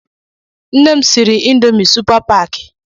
Nne m siri Ịndomì supa paakị